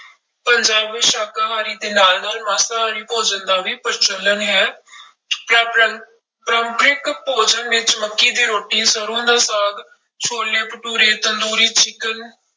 ਪੰਜਾਬ ਵਿੱਚ ਸ਼ਾਕਾਹਾਰੀ ਦੇ ਨਾਲ ਨਾਲ ਮਾਸਾਹਾਰੀ ਭੋਜਨ ਦਾ ਵੀ ਪ੍ਰਚਲਨ ਹੈ ਪਰਾਪਰੰ ਪਰੰਪਰਿਕ ਭੋਜਨ ਵਿੱਚ ਮੱਕੀ ਦੀ ਰੋਟੀ ਸਰੋਂ ਦਾ ਸਾਗ, ਛੋਲੇ ਭਟੂਰੇ ਤੰਦੂਰੀ ਚਿਕਨ